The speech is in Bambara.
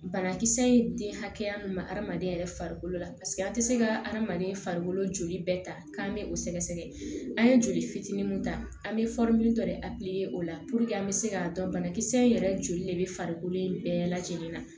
Banakisɛ ye den hakɛya min ma hadamaden yɛrɛ farikolo la an ti se ka hadamaden farikolo joli bɛɛ ta k'an bɛ o sɛgɛsɛgɛ an ye joli fitinin mun ta an be dɔ de o la puruke an be se k'a dɔn banakisɛ in yɛrɛ joli de bɛ farikolo in bɛɛ lajɛlen na